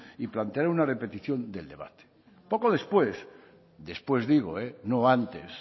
y plantear una repetición del debate poco después después digo no antes